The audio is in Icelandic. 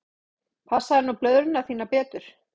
Passaðu nú blöðruna þína betur.